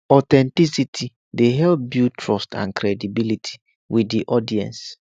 authenticity dey help to build trust and credibility with di audience